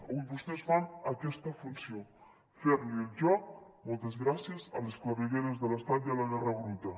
avui vostès fan aquesta funció fer li el joc moltes gràcies a les clavegueres de l’estat i a la guerra bruta